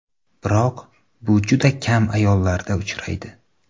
Biroq bu juda kam ayollarda uchraydi.